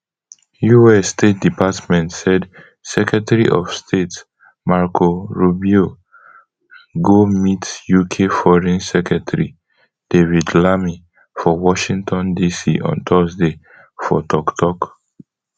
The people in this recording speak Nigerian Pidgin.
us state department said secretary of state marco rubio go meet uk foreign secretary david lammy for washington dc on thursday for tok tok